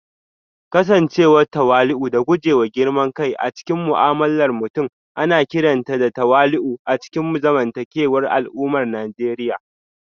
Kasancewa tawali'u da guje wa girman kai a cikin mu'amalar mutum ana kiranta da tawali'u a cikin zamantakewar al'ummar Najeriya